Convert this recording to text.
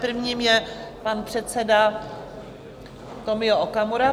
Prvním je pan předseda Tomio Okamura.